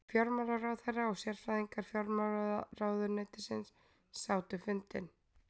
Fjármálaráðherra og sérfræðingar fjármálaráðuneytisins sátu fundinn